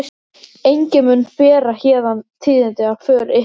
Enginn mun bera héðan tíðindi af för ykkar.